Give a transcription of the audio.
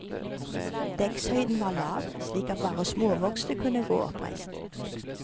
Dekkshøyden var lav, slik at bare småvokste kunne gå oppreist.